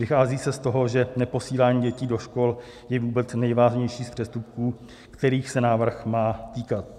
Vychází se z toho, že neposílání dětí do škol je vůbec nejvážnější z přestupků, kterých se návrh má týkat.